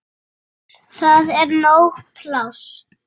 Það er nóg pláss.